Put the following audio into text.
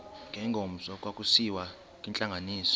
ngengomso kwakusiyiwa kwintlanganiso